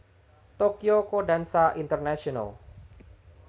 Tokyo Kondansha International